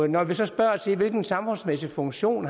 når vi så spørger til hvilken samfundsmæssig funktion